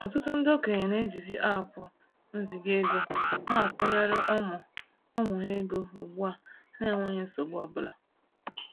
Ɔtụtụ ndị okenye na-ejizi aapụ nziga-ego na akwụnyere ụmụ ụmụ ha ego ugbua na-enweghi nsogbu ọbụla.